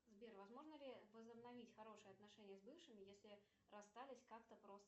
сбер возможно ли возобновить хорошие отношения с бывшим если расстались как то просто